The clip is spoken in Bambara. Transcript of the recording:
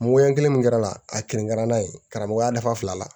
Moyani min kɛra a kɛrɛnkɛrɛnn'a ye karamɔgɔya nafa fila la